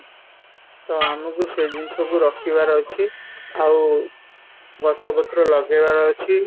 ତ ଆମକୁ ସେ ଜିନିଷ କୁ ରୋକିବାର ଅଛି ଆଉ ଗଛ ପତ୍ର ଲଗେଇବାର ଅଛି